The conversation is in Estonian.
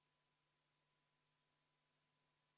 Inflatsioon on Euroopas sellel aastal siiamaani olnud 5% või 6% juures.